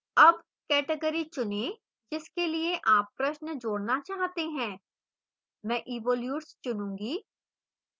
add category चुनें जिसके लिए आप प्रश्न जोड़ना चाहते हैं